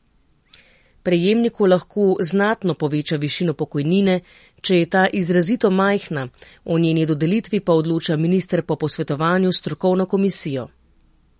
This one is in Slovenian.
Prejemniku lahko znatno poveča višino pokojnine, če je ta izrazito majhna, o njeni dodelitvi pa odloča minister po posvetovanju s strokovno komisijo.